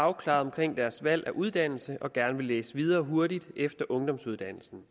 afklaret omkring deres valg af uddannelse og gerne vil læse videre og hurtigt efter ungdomsuddannelsen